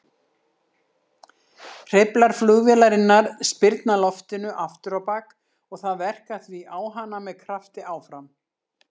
Hreyflar flugvélarinnar spyrna loftinu afturábak og það verkar því á hana með krafti áfram.